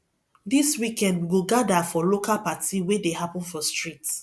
dis weekend we go gather for local party wey dey happen for street